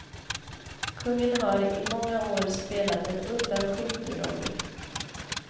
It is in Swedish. Kungen har i många år spelat en undanskymd roll.